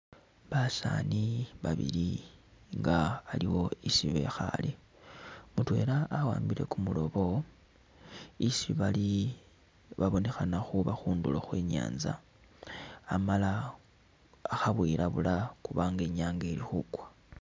Basani babili nga aliwo isii bikhale , mutwela awambile kumurobo , isii bali babonekhana khuba khunduro khwenyatsa amala khebwilabula khubanga Inyanga ilikhukwa